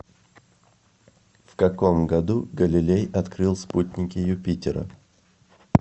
в каком году галилей открыл спутники юпитера